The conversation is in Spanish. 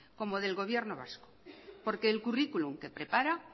como del gobierno vasco porque el curriculum que prepara